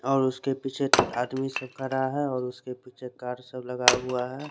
और उसके पीछे आदमी सब खड़ा है और उसके पीछे कार सब लगा है।